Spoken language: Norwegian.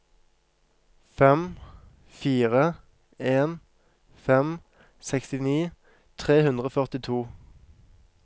fem fire en fem sekstini tre hundre og førtito